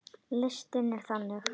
Listinn er þannig